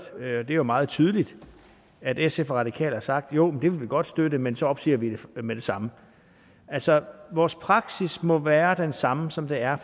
det er meget tydeligt at sf og radikale har sagt jo det vil vi godt støtte men så opsiger vi det med det samme altså vores praksis må være den samme som den er